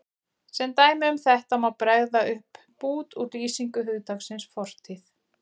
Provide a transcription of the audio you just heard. Sem dæmi um þetta má bregða upp bút úr lýsingu hugtaksins fortíð